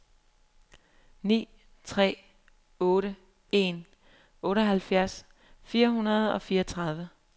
ni tre otte en otteoghalvfjerds fire hundrede og fireogtredive